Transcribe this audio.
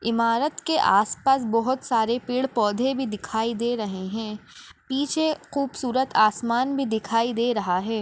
इमारत के आस-पास बहुत सारे पेड़ पौधे भी दिखाई दे रहे है पीछे खूबसूरत आसमान भी दिखाई दे रहा है।